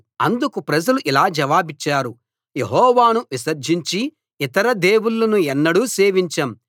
అందుకు ప్రజలు ఇలా జవాబిచ్చారు యెహోవాను విసర్జించి ఇతర దేవుళ్ళను ఎన్నడూ సేవించం